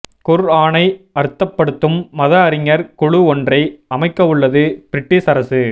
குர்ஆனை அர்த்தப்படுத்தும் மத அறிஞர் குழு ஒன்றை அமைக்கவுள்ளது பிரிட்டிஷ் அரசு